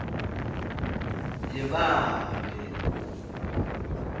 yebabe